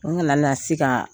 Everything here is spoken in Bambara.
An kana lasi ka